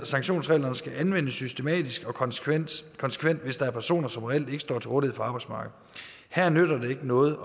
sanktionsreglerne skal anvendes systematisk og konsekvent hvis der er personer som reelt ikke står til rådighed for arbejdsmarkedet her nytter det ikke noget